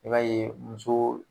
I b'a ye muso